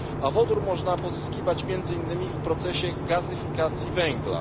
Wodór można pozyskiwać między innymi w procesie gazyfikacji węgla.